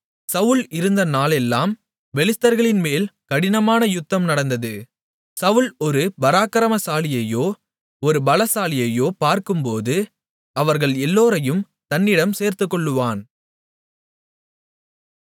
சவுல் இருந்த நாளெல்லாம் பெலிஸ்தர்களின்மேல் கடினமான யுத்தம் நடந்தது சவுல் ஒரு பராக்கிரமசாலியையோ ஒரு பலசாலியையோ பார்க்கும்போது அவர்கள் எல்லோரையும் தன்னிடம் சேர்த்துக்கொள்ளுவான்